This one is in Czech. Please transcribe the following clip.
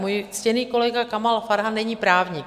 Můj ctěný kolega Kamal Farhan není právník.